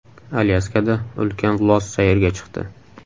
Alyaskada ulkan los sayrga chiqdi .